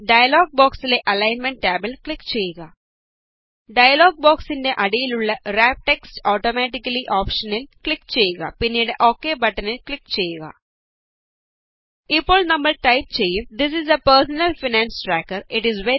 ഇനി ഡയലോഗ് ബോക്സിലെ അലൈന്മെന്റ് ടാബില് ക്ലിക് ചെയ്യുക ഡയലോഗ് ബോക്സിന്റെ അടിയിലുള്ള വ്രാപ് ടെക്സ്റ്റ് ഓട്ടോമാറ്റിക്കലി ഓപ്ഷനിന് ക്ലിക് ചെയ്യുക പിന്നീട് ഓകെ ബട്ടണില് ക്ലിക് ചെയ്യുക ഇപ്പോള് നമ്മള് ടൈപ് ചെയ്യുക it is a personal finance tracker